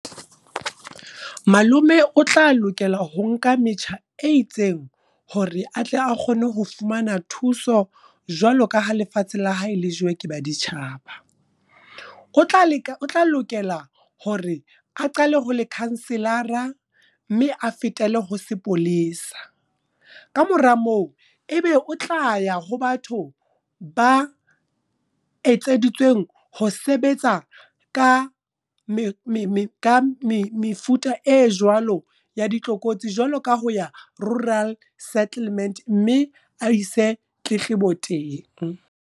Malome o tla lokela ho nka metjha e itseng. Hore atle a kgone ho fumana thuso, jwaloka ha lefatshe la hae le jowe ka baditjhaba. O tla lokela hore a qale ho lekhanselara, mme a fetele ho sepolesa. Kamora moo, ebe o tla ya ho batho ba etseditsweng ho sebetsa ka mefuta e jwalo ya ditlokotsi. Jwalo ka ho ya Rural Settlement mme a ise tletlebo teng.